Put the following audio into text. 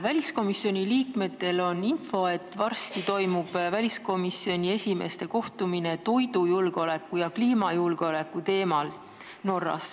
Väliskomisjoni liikmetel on info, et varsti toimub Norras väliskomisjoni esimeeste kohtumine toidujulgeoleku ja kliimajulgeoleku teemal.